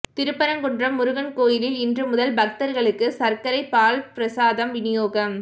திருப்பரங்குன்றம் முருகன் கோயிலில் இன்று முதல் பக்தா்களுக்கு சா்க்கரை பால் பிரசாதம் விநியோகம்